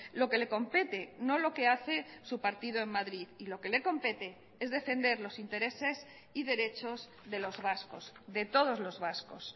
lo que le compete no lo que hace su partido en madrid y lo que le compete es defender los intereses y derechos de los vascos de todos los vascos